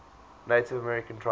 native american tribes